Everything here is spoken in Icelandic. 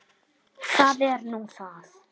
SOPHUS: Það er nú það.